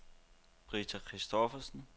Britta Christoffersen